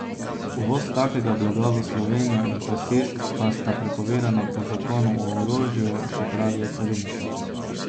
Uvoz takega blaga v Slovenijo in posest pa sta prepovedana po zakonu o orožju, še pravijo cariniki.